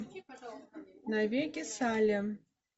навеки салли